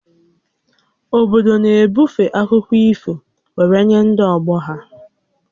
Obodo na-ebufe akụkọ ifo were nye n'ọgbọ ha